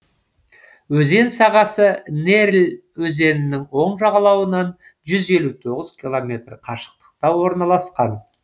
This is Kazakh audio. өзен сағасы нерль өзенінің оң жағалауынан жүз елу тоғыз километр қашықтықта орналасқан